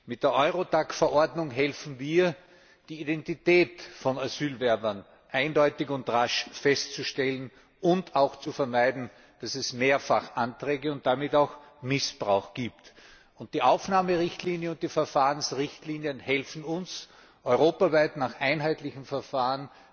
Mit der Eurodac Verordnung helfen wir, die Identität von Asylbewerbern eindeutig und rasch festzustellen und auch zu vermeiden, dass es Mehrfachanträge und damit auch Missbrauch gibt. Die Aufnahme und Verfahrensrichtlinien helfen uns, europaweit nach einheitlichen Verfahren